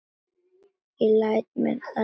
Ég læt mér það lynda.